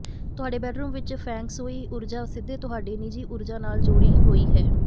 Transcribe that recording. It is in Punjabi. ਤੁਹਾਡੇ ਬੈਡਰੂਮ ਵਿਚ ਫੈਂਗ ਸ਼ੂਈ ਊਰਜਾ ਸਿੱਧੇ ਤੁਹਾਡੀ ਨਿਜੀ ਊਰਜਾ ਨਾਲ ਜੁੜੀ ਹੋਈ ਹੈ